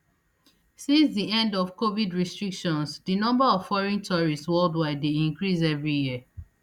since di end of covid restrictions di number of foreign tourists worldwide dey increase every year